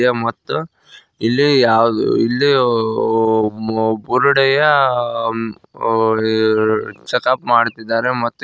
ಇದೆ ಮತ್ತು ಇಲ್ಲಿ ಯಾವುದ್ ಇಲ್ಲಿ ಆ ಓ ಓ ಬುರುಡೆಯ ಅಂ ಆ ಈ ಚೆಕ್ ಅಪ್ ಮಾಡುತ್ತಿದ್ದಾರೆ ಮತ್ತು --